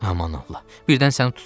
Aman Allah, birdən səni tutsalar?